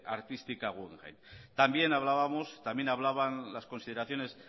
artística guggenheim también hablábamos también hablaban las consideraciones